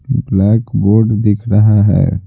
Black board दिख रहा है।